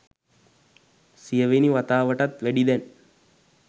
සියවෙනි වතාවටත් වැඩි දැන්